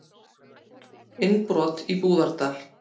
Innbrot í Búðardal